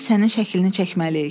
biz sənin şəklini çəkməliyik.